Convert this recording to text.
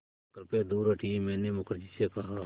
कृपया दूर हटिये मैंने मुखर्जी से कहा